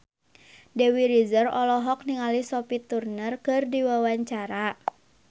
Dewi Rezer olohok ningali Sophie Turner keur diwawancara